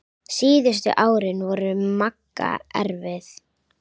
Síðustu árin voru Magga erfið.